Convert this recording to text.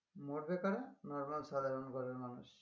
মরবে কারা? normal সাধারন ঘরের মানুষ